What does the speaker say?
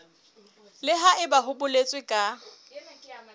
le haebe ho boletswe ka